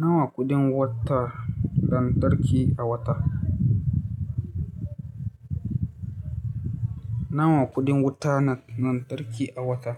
Nawa kuɗin wutar lantarki a wata? Nawa kuɗin wuta na lantarki a wata?